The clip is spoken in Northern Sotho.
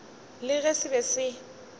le ge se be se